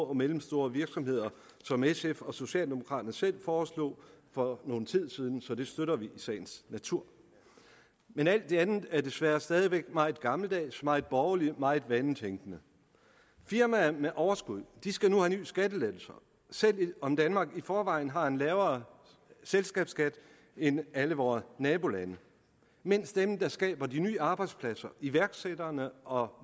og mellemstore virksomheder som sf og socialdemokraterne selv foreslog for nogen tid siden så det støtter vi i sagens natur men alt det andet er desværre stadig væk meget gammeldags meget borgerligt meget vanetænkende firmaer med overskud skal nu have nye skattelettelser selv om danmark i forvejen har en lavere selskabsskat end alle vore nabolande mens dem der skaber de nye arbejdspladser iværksætterne og